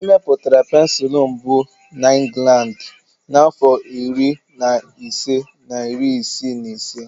Emepụtara pensụl mbụ na Inglandi n'afọ iri na ise na iri isii na ise.